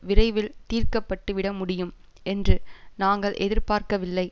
விரைவில் தீர்க்கப்பட்டு விட முடியும் என்று நாங்கள் எதிர்பார்க்கவில்லை